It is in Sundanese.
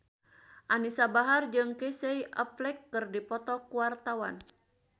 Anisa Bahar jeung Casey Affleck keur dipoto ku wartawan